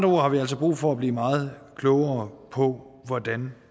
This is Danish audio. ord har vi altså brug for at blive meget klogere på hvordan